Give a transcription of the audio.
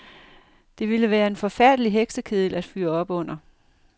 Det ville være en forfærdelig heksekedel at fyre op under.